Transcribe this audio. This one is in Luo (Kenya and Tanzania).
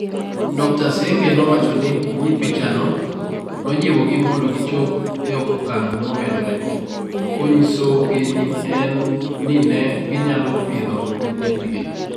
Dr. Sengeh nowacho ni pichano "nojiwogi mondo gichop e okang ' momedore, konyisogi ni ne ginyalo pidho nyithindgi.